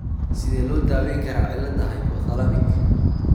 Sidee loo daweyn karaa cilladda hypothalamic?